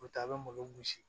O taa a bɛ malo gosi